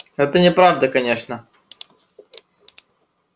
но это неправда конечно